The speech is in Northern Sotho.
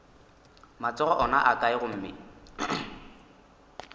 matsogo ona a kae gomme